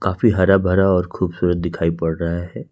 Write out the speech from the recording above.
काफी हरा भरा और खूबसूरत दिखाई पड़ रहा है।